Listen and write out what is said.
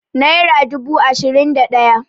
naira dubu ashirin da daya